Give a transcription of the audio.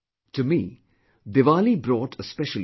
To me, Diwali brought a special experience